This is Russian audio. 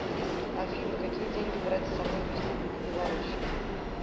афина какие деньги брать с собой в республику беларусь